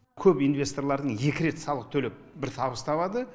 көп инвесторлардың екі рет салық төлеп бір табыс табады